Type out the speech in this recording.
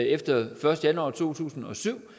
efter den første januar to tusind og syv